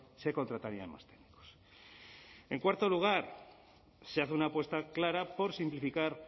se contratarían más técnicos en cuarto lugar se hace una apuesta clara por simplificar